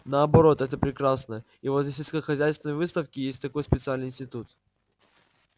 наоборот это прекрасно и возле сельскохозяйственной выставки есть такой специальный институт